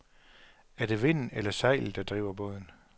Er det vinden eller sejlet, der driver båden?